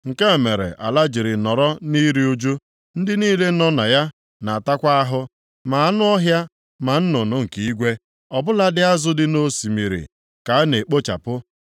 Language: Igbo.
Nke a mere ala jiri nọrọ nʼiru ụjụ, ndị niile nọ na ya na-atakwa ahụ, + 4:3 Maọbụ, na-anwụkwa anwụ ma anụ ọhịa, ma nnụnụ nke igwe, ọ bụladị azụ dị nʼosimiri ka a na-ekpochapụ.